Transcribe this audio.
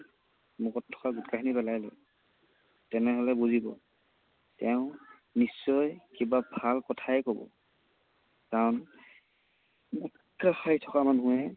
মুখত থকা গুটখাখিনি পেলাই লয়, তেনেহলে বুজিব, তেওঁ নিশ্চয় কিবা ভাল কথাই কব। কাৰণ গুটখা খাই থকা মানুহে